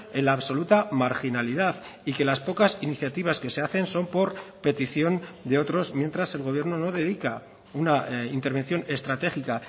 en la absoluta marginalidad y que las pocas iniciativas que se hacen son por petición de otros mientras el gobierno no dedica una intervención estratégica